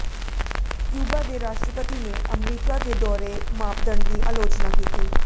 Cuba ਦੇ ਰਾਸ਼ਟਰਪਤੀ ਨੇ ਅਮਰੀਕਾ ਦੇ ਦੋਹਰੇ ਮਾਪਦੰਡ ਦੀ ਆਲੋਚਨਾ ਕੀਤੀ